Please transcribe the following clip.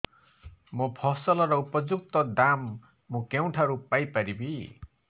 ମୋ ଫସଲର ଉପଯୁକ୍ତ ଦାମ୍ ମୁଁ କେଉଁଠାରୁ ପାଇ ପାରିବି